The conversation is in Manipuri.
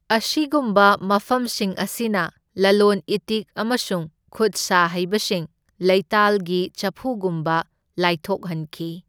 ꯑꯁꯤꯒꯨꯝꯕ ꯃꯐꯝꯁꯤꯡ ꯑꯁꯤꯅ ꯂꯂꯣꯟ ꯏꯇꯤꯛ ꯑꯃꯁꯨꯡ ꯈꯨꯠꯁꯥ ꯍꯩꯕꯁꯤꯡ ꯂꯩꯇꯥꯜꯒꯤ ꯆꯐꯨꯒꯨꯝꯕ ꯂꯥꯏꯊꯣꯛꯍꯟꯈꯤ꯫